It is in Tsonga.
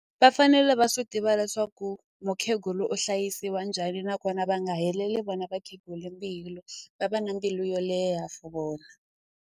Va fanele va swi tiva leswaku mukhegulu u hlayisiwa njhani nakona va nga heleli vona vakhegula mbilu va va na mbilu yo leha for vona.